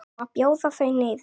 Á að bjóða þau niður?